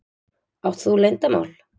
Átt þú leyndarmál?